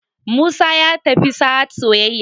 musa ya tafi sahad soyayya